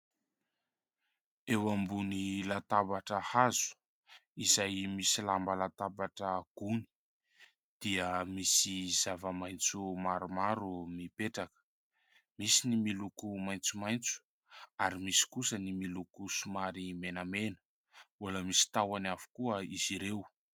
Eo ambony latabatra hazo izay misy lamba latabatra gony dia misy zava-maintso maromaro mipetraka ; misy ny miloko maintsomaintso ary misy kosa ny miloko somary menamena, mbola misy tahony avokoa izy ireo.